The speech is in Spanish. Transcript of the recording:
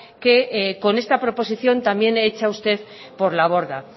que con esta proposición también hecha usted por la borda